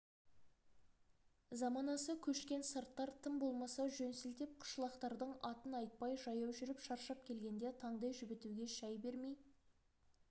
заманасы көшкен сарттар тым болмаса жөн сілтеп қышлақтардың атын айтпай жаяу жүріп шаршап келгенде таңдай жібітуге шай бермей